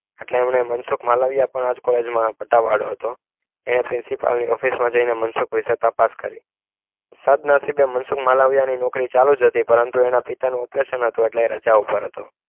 એટલે એમને મનસુખ માલવિયા પણ આજ કોલેજ માં પટ્ટાવાડો હતો એણે પ્રિન્સિપાલ ની ઓફિસમાં જઈને મનસુખ તપાસ કરી સદનસીબે મનસુખ માલવિયા નોકરી ચાલુજ હતી પરંતુ એના પિતાનું ઓપરેશન હતું એટલે એ રજા ઉપર હતો